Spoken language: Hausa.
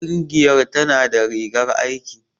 Ƙungiyar tana da rigar aiki.